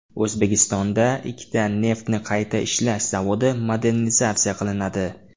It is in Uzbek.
O‘zbekistonda ikkita neftni qayta ishlash zavodi modernizatsiya qilinadi.